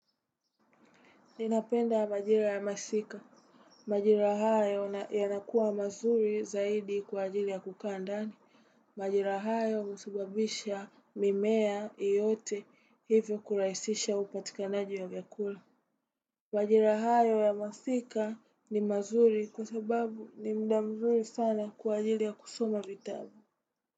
Ninapenda majira ya masika. Majira hayo yanakuwa mazuri zaidi kwa ajili ya kukaa ndani. Majira hayo husababisha mimea yote hivyo kurahisisha upatikanaji wa vyakula. Majira hayo ya masika ni mazuri kwa sababu ni muda mzuri sana kwa ajili ya kusoma vitabu.